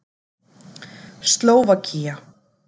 Slóvakía